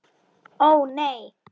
Ó, nei.